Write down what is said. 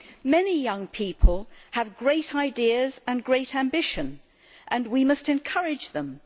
Many young people have great ideas and great ambition and we must encourage them.